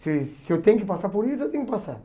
Se se eu tenho que passar por isso, eu tenho que passar.